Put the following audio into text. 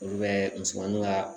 Olu bɛ musomaninw ka